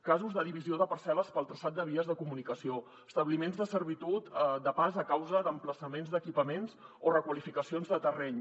casos de divisió de parcel·les pel traçat de vies de comunicació establiments de servitud de pas a causa d’emplaçaments d’equipaments o requalificacions de terreny